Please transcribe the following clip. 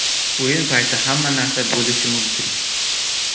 O‘yin payti hamma narsa bo‘lishi mumkin.